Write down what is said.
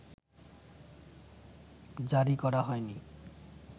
জারি করা হয়নি